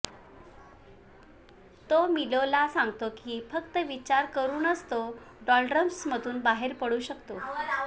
तो मिलोला सांगतो की फक्त विचार करूनच तो डॉल्ड्रम्समधून बाहेर पडू शकतो